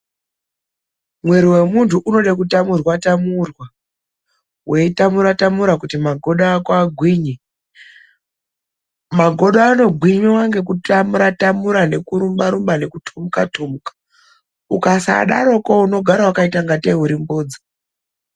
Mwiri wemuntu unode kutamura-tamura, vei tamura tamura kuti magodo ako agwinye. Magodo anogwinya ngekutamura-tamura ngekurumba-rumba nekutomuka-tomuka. Ukasadaroko unogara vakaita kunge tee uri mbodza.